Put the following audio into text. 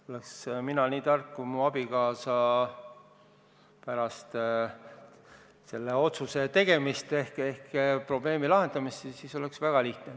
Oleks mina nii tark kui mu abikaasa pärast selle otsuse tegemist ehk probleemi lahendamist, siis oleks väga lihtne.